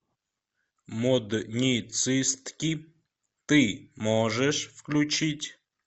модницистки ты можешь включить